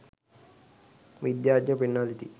විද්‍යාඥයෝ පෙන්වා දෙති.